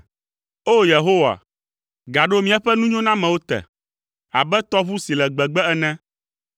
O! Yehowa, gaɖo míaƒe nunyonamewo te, abe tɔʋu si le Gbegbe ene.